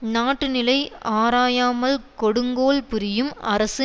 நாட்டுநிலை ஆராயாமல் கொடுங்கோல் புரியும் அரசு